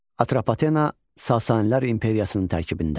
Atropatena Sasanilər imperiyasının tərkibində.